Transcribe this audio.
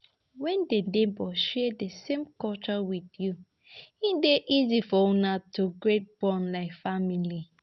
When di neighbour share di same culture with you, e dey easier for una to creat bond like family